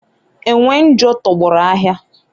enwe njo tọgbọrọ ahịa